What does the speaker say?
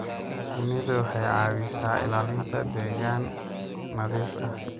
Shinnidu waxay caawisaa ilaalinta deegaan nadiif ah.